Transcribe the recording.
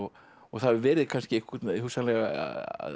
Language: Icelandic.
það hefur verið hugsanlega